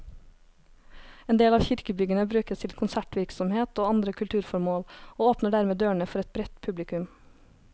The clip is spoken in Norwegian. En del av kirkebyggene brukes til konsertvirksomhet og andre kulturformål, og åpner dermed dørene for et bredt publikum.